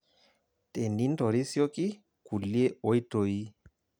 Tenintorisioki kulie oitoi.